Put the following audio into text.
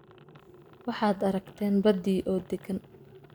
Waxaad aragteen baddii oo deggan